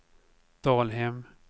Dalhem